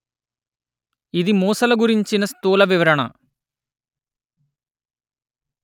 ఇది మూసల గురించిన స్థూల వివరణ